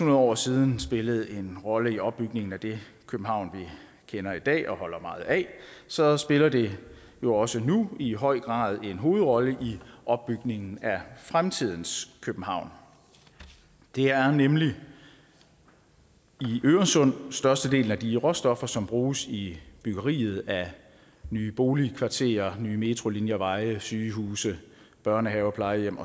år siden spillede en rolle i opbygningen af det københavn vi kender i dag og holder meget af så spiller det jo også nu i høj grad en hovedrolle i opbygningen af fremtidens københavn det er nemlig i øresund at størstedelen af de råstoffer som bruges i byggeriet af nye boligkvarterer nye metrolinjer veje sygehuse børnehaver plejehjem